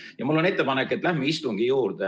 Aga mul on ettepanek, et läheme istungi päevakorra juurde.